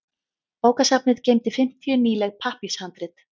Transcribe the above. Bókasafnið geymdi fimmtíu nýleg pappírshandrit.